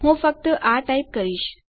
તો હું ફક્ત આ ટાઈપ કરીશ